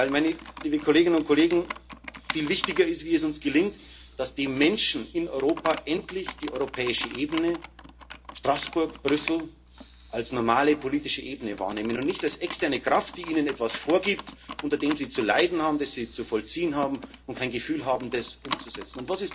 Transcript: Denn viel wichtiger ist, wie es uns gelingt, dass die Menschen in Europa endlich die europäische Ebene Straßburg, Brüssel als normale politische Ebene wahrnehmen und nicht als externe Kraft, die ihnen etwas vorgibt, unter dem sie zu leiden haben, das sie zu vollziehen haben und kein Gefühl haben, das umzusetzen.